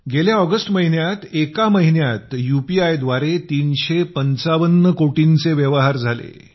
गेल्या ऑगस्ट महिन्यात एका महिन्यात युपीआय द्वारे 355 कोटी व्यवहार झाले